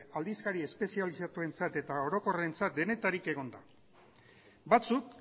aldizkari espezializatuentzat eta orokorrentzat denetarik egonda batzuk